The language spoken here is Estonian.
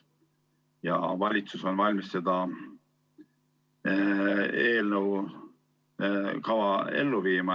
Ja valitsus on valmis seda eelnõu kava ellu viima.